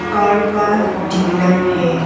Car का dealer है।